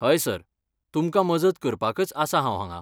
हय सर, तुमकां मजत करपाकच आसा हांव हांगां.